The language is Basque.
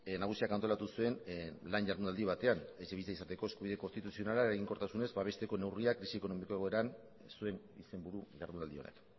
nagusiak antolatu zuen lan jardunaldi batean etxebizitza izateko eskubide konstituzionalaren eraginkortasunez babesteko neurriak krisi ekonomiko egoeran zuen izenburu jardunaldi horrek